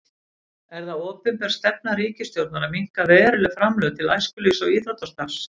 Er það opinber stefna ríkisstjórnar að minnka verulega framlög til æskulýðs- og íþróttastarfs?